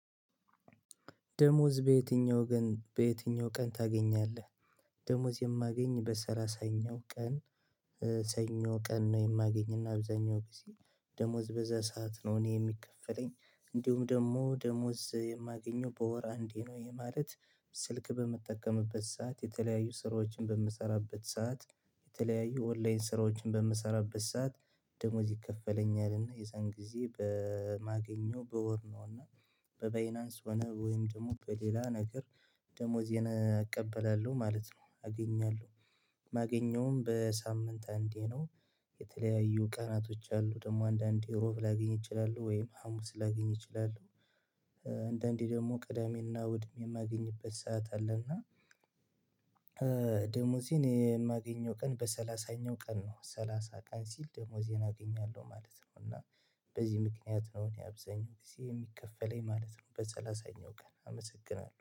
ደሞዝ በየትኛው ቀን በየትኛው ቀን ተገኛለህ? ደሞዝ የማገኝ በሰላሳኛ ቀን ሰኞ ቀን ነው የማገኝ አብዛኛውን ጊዜ ደሞዝ በዚያ ስዓት ነው እኔ የሚከፈለኝ እንድሁም ደግሞ ደሞዝ የመገኛው በወር አንዴ ነው እሄ ማለት። ስልክ በምትጠቀምበት ስዓት የተለያዩ ስራዎችን በምሰራበት ስዓት የተለያዩ ኦንለይን ስራዎችን በምሰራበት ስዓት ደሞዝ ይከፍለኛል እና የዚያን ጊዜ በሚገኘው በወር ነው እና በበይናንስ ሆነ ወይም ደግሞ በሌለ ነገር ደሞዜን እቀበላለሁ ማለት ነው። አገኛለሁ ማገኛውም በሰምንት አንዴ ነው። የተለያዩ ቀናቶች አሉ አንደንዴ ረዓቡ ላገኝ እችላለሁ ወይም ሀሙስ ላገኝ እችላለሁ። አንደንዴ ደግሞ ቅደሜ እና እሁድ የማገኝበት ስዓት አለ። እና ደሞዜን የመገኛው ቀን በሰላሳኛው ቀን ነው ሰላሳ ቀን ሲል ደሞዜን አገኛለሁ ማለት ነው። እና በዚህ ምከንያት ነው እኔ አብዛኛው ጊዜ የሚከፈለኝ ማለት ነው። በሰላሳኛው ቀን አመሰግናለሁ